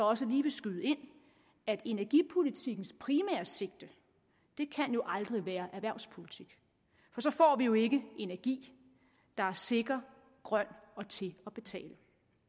også lige vil skyde ind at energipolitikkens primære sigte jo aldrig kan være erhvervspolitik for så får vi jo ikke energi der er sikker grøn og til at betale